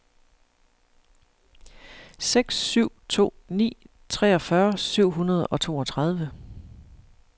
seks syv to ni treogfyrre syv hundrede og toogtredive